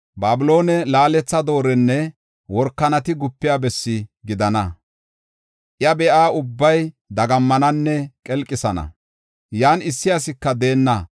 Babilooney laaletha doorenne workanati gupiya bessi gidana. Iya be7iya ubbay dagammananne qelqisana; yan issi asika deenna.